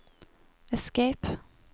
escape